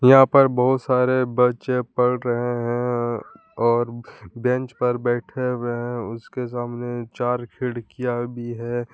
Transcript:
यहां पर बहुत सारे बच्चे पढ़ रहे हैं और बेंच पर बैठे हुए हैं उसके सामने चार खिड़कियां भी है।